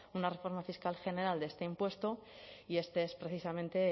una reforma fiscal general de este impuesto y este es precisamente